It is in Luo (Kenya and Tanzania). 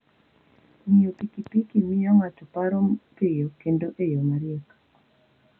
Ng'iyo pikipiki miyo ng'ato paro piyo kendo e yo mariek.